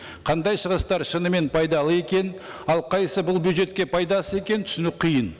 қандай сұраныстар шынымен пайдалы екен ал қайсысы бұл бюджетке пайдасыз екенін түсіну қиын